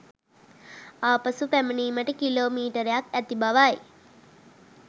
ආපසු පැමිණීමට කිලෝමීටර්ක් ඇති බවයි